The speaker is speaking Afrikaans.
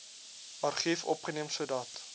argief opgeneem sodat